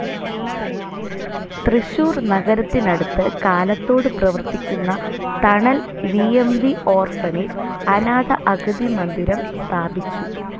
തൃശൂർ നഗരത്തിനടുത്ത് കാലത്തോട് പ്രവർത്തിക്കുന്ന തണൽ വി എം വി ഓർഫനേജ്‌ അനാഥ അഗതി മന്ദിരം സ്ഥാപിച്ചു.